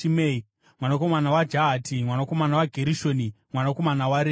mwanakomana waJahati, mwanakomana waGerishoni, mwanakomana waRevhi;